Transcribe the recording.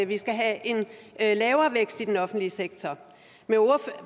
vi skal have en lavere vækst i den offentlige sektor